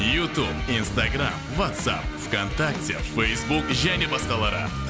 ютуб инстаграмм ватсап в контакте фейсбук және басқалары